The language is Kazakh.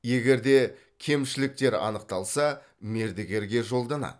егер де кемшіліктер анықталса мердігерге жолданады